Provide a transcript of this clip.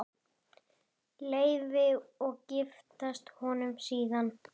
Hálsi fullum iðka menn.